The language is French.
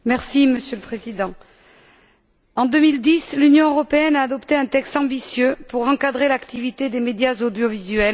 Monsieur le Président, en 2010, l'Union européenne a adopté un texte ambitieux pour encadrer l'activité des médias audiovisuels.